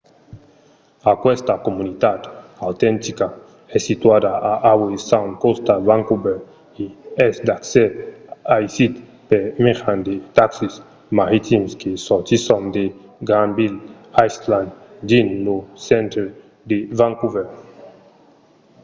aquesta comunitat autentica es situada a howe sound còsta vancouver e es d'accès aisit per mejan de taxis maritims que sortisson de granville island dins lo centre de vancouver